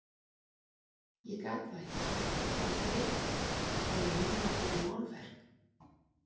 Ég gat það ekki, ég var þreytt, ég hafði nýlokið við málverk.